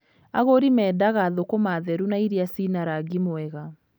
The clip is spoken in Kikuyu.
Agurĩ mendaga thũkũma theru na irĩa cina rangi mwega.